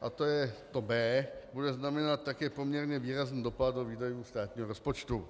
a to je to b), bude znamenat také poměrně výrazný dopad do výdajů státního rozpočtu.